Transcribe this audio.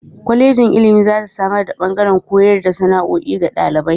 Kwalejin ilimi za ta samar da ɓangaren koyar da sana'o'i ga ɗalibai.